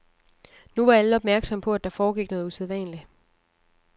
Nu var alle opmærksomme på, at der foregik noget usædvanligt.